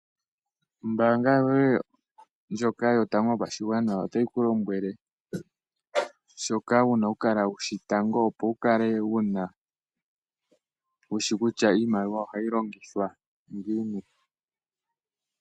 Ombaanga yoye ndjoka yotango yopashigwana otayi ku lombwele shoka wuna oku kala wushi tango opo wukale, wushi kutya iimaliwa ohayi longithwa ngini.